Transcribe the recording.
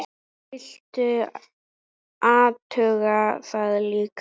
Viltu athuga það líka!